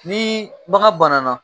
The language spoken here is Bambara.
Ni bagan bana na